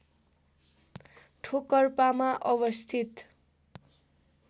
ठोकर्पामा अवस्थित